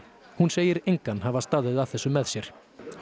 hún segir engan hafa staðið að þessu með sér